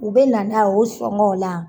U bɛ na n'a ye o sɔngɔn o la.